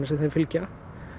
sem þeim fylgja